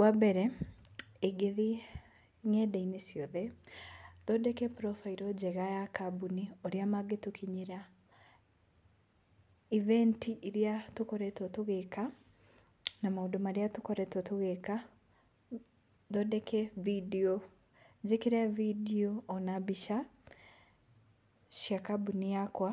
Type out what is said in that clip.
Wambere ingĩthiĩ ngenda-inĩ ciothe, thondeke profile njega ya kambũni, ũrĩa mangĩtũkinyĩra, ibenti iria tũkoretwo tũgĩka na maũndũ marĩa tũkoretwo tũgĩka. Thondeke bindiũ, njĩkĩre bindiũ ona mbica cia kambũni yakwa.